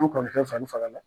An kɔrɔ kɛ, sani saga la.